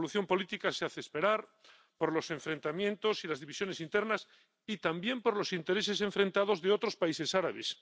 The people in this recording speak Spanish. La solución política se hace esperar por los enfrentamientos y las divisiones internas y también por los intereses enfrentados de otros países árabes.